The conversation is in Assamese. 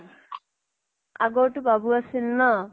আগৰ তো বাবু আছিল ন?